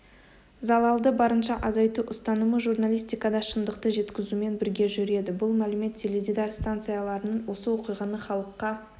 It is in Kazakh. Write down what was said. залалды барынша азайту ұстанымы журналистикада шындықты жеткізумен бірге жүреді бұл мәлімет теледидар станцияларының осы оқиғаны халыққа